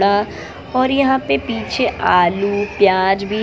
अह और यहां पे पीछे आलू प्याज भी है।